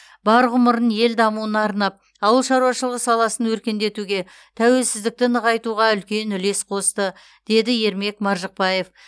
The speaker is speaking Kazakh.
бар ғұмырын ел дамуына арнап ауыл шаруашылығы саласын өркендетуге тәуелсіздікті нығайтуға үлкен үлес қосты деді ермек маржықпаев